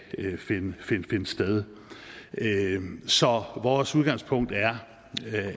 finde sted så vores udgangspunkt er